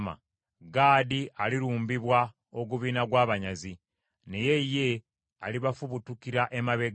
Gaadi alirumbibwa ogubiina gw’abanyazi, naye ye, alibafubutukira emabega.